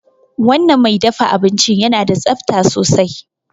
Wanan mai dafa abincin yana da tsabta sosai